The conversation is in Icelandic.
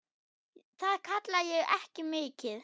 Það kalla ég ekki mikið.